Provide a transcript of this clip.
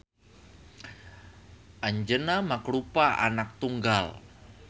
Anjeuna mangrupa anak tunggal